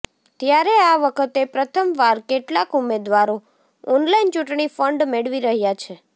ત્યારે આ વખતે પ્રથમવાર કેટલાંક ઉમેદવારો ઓનલાઇન ચૂંટણી ફંડ મેળવી રહ્યા છે